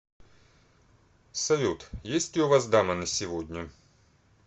салют есть ли у вас дама на сегодня